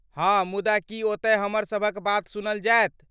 हाँ, मुदा की ओतय हमरसभक बात सुनल जायत?